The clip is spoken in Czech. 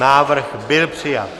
Návrh byl přijat.